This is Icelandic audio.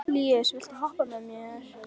Líus, viltu hoppa með mér?